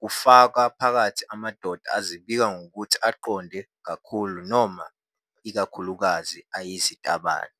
kufaka phakathi amadoda azibika ngokuthi "aqonde kakhulu" noma "ikakhulukazi ayizitabane."